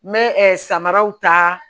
N bɛ samaraw ta